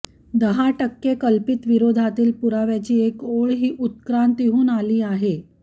दहा टक्के कल्पित विरोधातील पुराव्याची एक ओळ ही उत्क्रांतीहून आली आहे